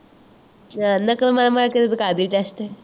ਨਕਲ ਮਾਰ ਮਾਰ ਕੇ ਤਾਂ ਤੂੰ ਕਰਦੀ ਹੈ test